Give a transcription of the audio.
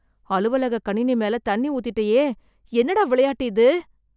அலுவலக கணினி மேல தண்ணி ஊத்திட்டேயே, என்னடா விளையாட்டு இது?